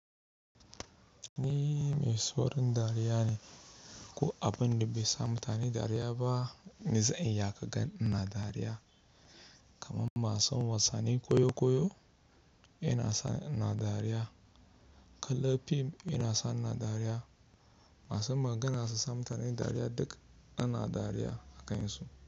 Ni mai saurin dariya ne, ko abin da bai sa mutane dariya ba, ni zan iya ka gan ina dariya. Kaman masu wasannin koyo koyo ina sa ni ina dariya, kala fim yana sa ni ina dariya, masu magana su sa mutane dariya duk ina dariya a kansu.